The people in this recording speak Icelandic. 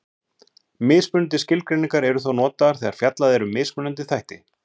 Mismunandi skilgreiningar eru þó notaðar þegar fjallað er um mismunandi þætti.